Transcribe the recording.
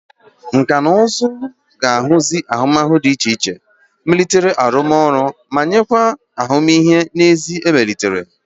Nkà na ụzụ ga-ahazi ahụmihe dị iche iche, melite arụmọrụ arụ ọrụ, ma nyekwa ahụmihe n'ezie emelitere.